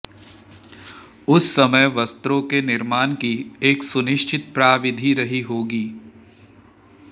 उस समय वस्त्रों के निर्माण की एक सुनिश्चित प्राविधि रही होगी